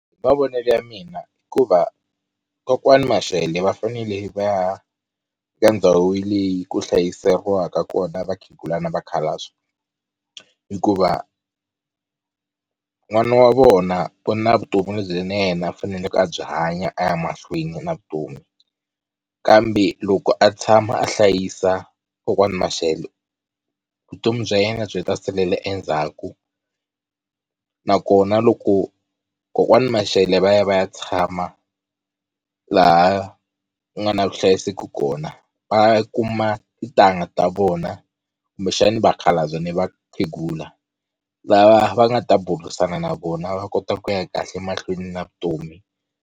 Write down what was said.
Hi mavonelo ya mina hikuva kokwani Mashele va fanele va ya eka ndhawu leyi ku hlayiseriwaka kona vakhegula na vakhalabye, hikuva n'wana wa vona u na vutomi lebyi na yena a faneleke a byi hanya a ya mahlweni na vutomi. Kambe loko a tshama a hlayisa kokwana Mashele vutomi bya yena byi ta salela endzhaku nakona loko kokwani Mashele va ya va ya tshama laha ku nga na vuhlayiseki kona va kuma titangha ta vona kumbexana vakhalabya ni vakhegula lava va nga ta burisana na vona va kota ku ya kahle mahlweni na vutomi.